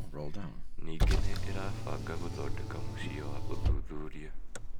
Ningĩ nĩĩrabanga gũthondeka mũciĩ wa ũthuthuria.